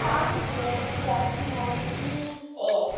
Þannig er nú lífið.